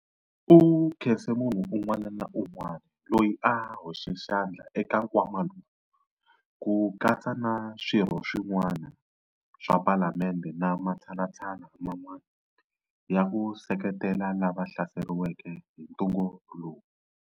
U khense munhu un'wana na un'wana loyi a hoxeke xandla eka nkwama lowu, ku katsa na Swirho swin'wana swa Palamende na matshalatshala man'wana ya ku seketela lava va hlaseriweke hi ntungu lowu.